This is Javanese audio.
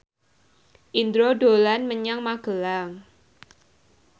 Indro dolan menyang Magelang